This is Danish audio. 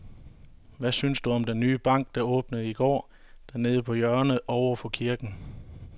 Hvad synes du om den nye bank, der åbnede i går dernede på hjørnet over for kirken?